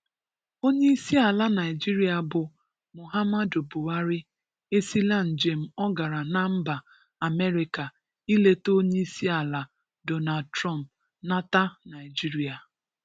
Onyeisiala Naịjirịa bụ Muhammadu Buhari esila njem ọ gara na mba Amerịka i leta onyeisiala Donald Trump nata Naịjirịa.